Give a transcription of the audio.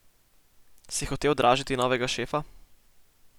Si hotel dražiti novega šefa?